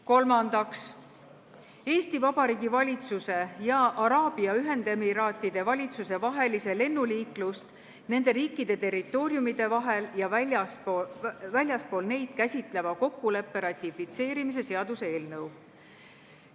Kolmandaks, Eesti Vabariigi valitsuse ja Araabia Ühendemiraatide valitsuse vahelise lennuliiklust nende riikide territooriumide vahel ja väljaspool neid käsitleva kokkuleppe ratifitseerimise seaduse eelnõu.